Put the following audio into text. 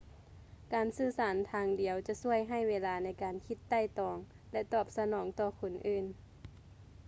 ການສື່ສານທາງດຽວຈະຊ່ວຍໃຫ້ເວລາໃນການຄິດໄຕ່ຕອງ ແລະ ຕອບສະໜອງຕໍ່ຄົນອື່ນ